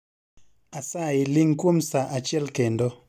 Asayi ling kuom saa achiel kendo